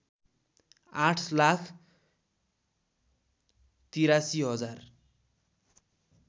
आठ लाख ८३ हजार